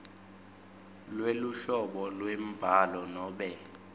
lweluhlobo lwembhalo nobe